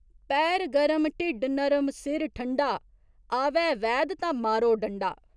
पैर गरम, ढिड्ड नरम, सिर ठंडा आवै वैद ता मारो डंडा।